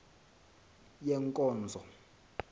yenkonzo